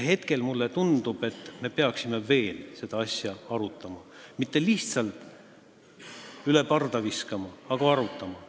Hetkel mulle tundub, et me peaksime veel seda asja arutama, mitte lihtsalt üle parda viskama, vaid arutama.